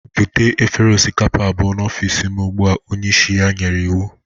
Bute efere osikapa abụọ n'ọfịsị m ugbu a! onye isi ya nyere iwu